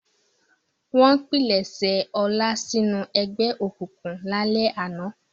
Wọ́n pilẹ̀sẹ̀ Ọlá sínú ẹgbẹ́ òkùnkùn lálẹ́ àná.